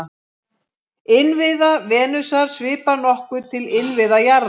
Innviða Venusar svipar nokkuð til innviða jarðar.